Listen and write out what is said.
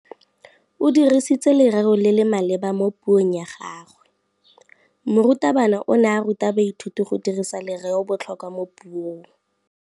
O dirisitse lerêo le le maleba mo puông ya gagwe. Morutabana o ne a ruta baithuti go dirisa lêrêôbotlhôkwa mo puong.